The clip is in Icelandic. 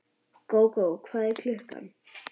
Gógó, hvað er klukkan?